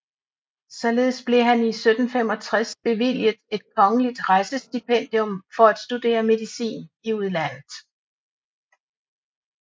Således blev han 1765 bevilget et kongeligt rejsestipendium for at studere medicin i udlandet